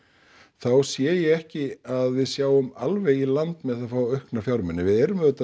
þá sé ég ekki að við sjáum alveg í land með að fá aukna fjármuni við erum auðvitað